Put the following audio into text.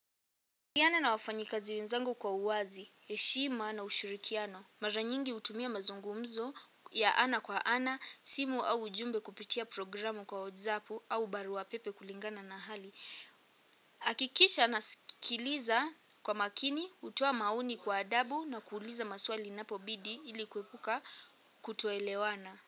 Kikiana na wafanyikazi wenzangu kwa uwazi, heshima na ushirikiano. Mara nyingi hutumia mazungumzo ya ana kwa ana, simu au ujumbe kupitia programu kwa WhatsApp au baruapepe kulingana na hali. Hakikisha nasikiliza kwa makini, kutoa maoni kwa adabu na kuuliza maswali inapobidii ilikuepuka kutoelewana.